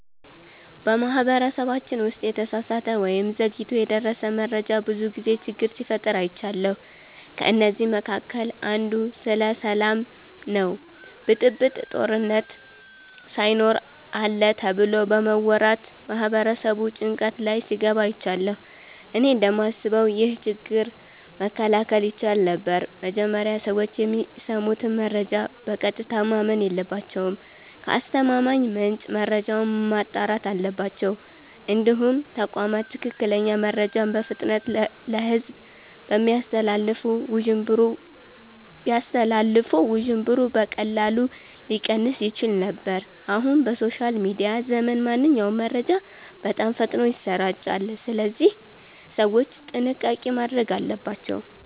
በማህበረሰባችን ውስጥ የተሳሳተ ወይም ዘግይቶ የደረሰ መረጃ ብዙ ጊዜ ችግር ሲፈጥር አይቻለሁ። ከእነዚህ መካከል አንዱ ስለ ሰላም ነው ብጥብጥ፣ ጦርነት ሳይኖር አለ ተብሎ በመወራት ማህበረሰቡ ጭንቀት ላይ ሲገባ አይቻለሁ። እኔ እንደማስበው ይህ ችግር መከላከል ይቻል ነበር። መጀመሪያ ሰዎች የሚሰሙትን መረጃ በቀጥታ ማመን የለባቸውም። ከአስተማማኝ ምንጭ መረጃውን ማጣራት አለባቸው። እንዲሁም ተቋማት ትክክለኛ መረጃን በፍጥነት ለሕዝብ ቢያስተላልፉ ውዥንብሩ በቀላሉ ሊቀንስ ይችል ነበር። አሁን በሶሻል ሚዲያ ዘመን ማንኛውም መረጃ በጣም ፈጥኖ ይሰራጫል፣ ስለዚህ ሰዎች ጥንቃቄ ማድረግ አለባቸው።